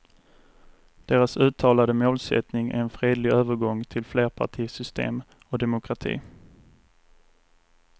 Deras uttalade målsättning är en fredlig övergång till flerpartisystem och demokrati.